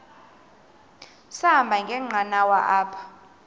sahamba ngenqanawa apha